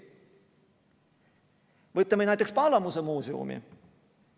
Võtame näiteks Palamuse muuseumi.